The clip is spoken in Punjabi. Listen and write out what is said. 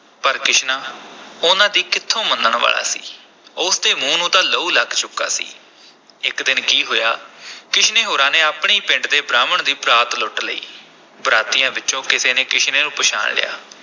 ਪਰ ਕਿਸ਼ਨਾ ਉਨ੍ਹਾਂ ਦੀ ਕਿੱਥੋਂ ਮੰਨਣ ਵਾਲਾ ਸੀ ਉਸ ਦੇ ਮੂੰਹ ਨੂੰ ਤਾਂ ਲਹੂ ਲੱਗ ਚੁੱਕਾ ਸੀ, ਇਕ ਦਿਨ ਕੀ ਹੋਇਆ ਕਿਸ਼ਨੇ ਹੋਰਾਂ ਨੇ ਆਪਣੇ ਹੀ ਪਿੰਡ ਦੇ ਬ੍ਰਾਹਮਣ ਦੀ ਬਰਾਤ ਲੁੱਟ ਲਈ, ਬਰਾਤੀਆਂ ਵਿਚੋਂ ਕਿਸੇ ਨੇ ਕਿਸ਼ਨੇ ਨੂੰ ਪਛਾਣ ਲਿਆ।